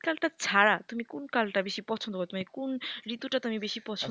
শীতকালটা ছাড়া তুমি কোন কালটা তুমি বেশি পছন্দ করো তুমি কোন ঋতুটা তুমি বেশি পছন্দ করো?